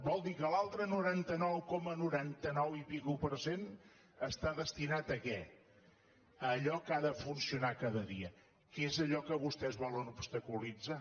vol dir que l’altre noranta nou coma noranta nou i escaig per cent està destinat a què a allò que ha de funcionar cada dia que és allò que vostès volen obstaculitzar